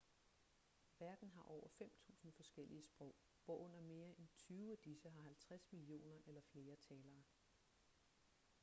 verden har over 5.000 forskellige sprog hvorunder mere end tyve af disse har 50 millioner eller flere talere